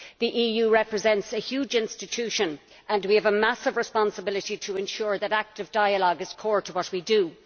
The EU represents a huge institution and we have a massive responsibility to ensure that active dialogue is core to what we do.